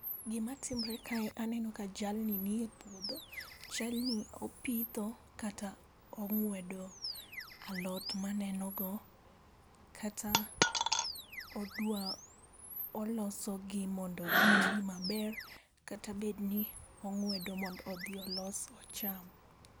Gima timre kae aneno ka jalni ni e puodho, chalni opitho kata ong'wedo alot maneno go, kata odwa olosogi mondo gitwi maber, kata bedni ong'wedo mondo odhi olos ocham.